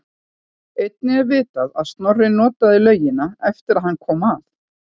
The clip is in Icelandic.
Einnig er vitað að Snorri notaði laugina eftir að hann kom að